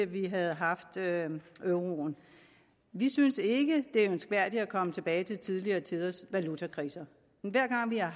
vi havde haft euroen vi synes ikke det er ønskværdigt at komme tilbage til tidligere tiders valutakriser hver gang vi har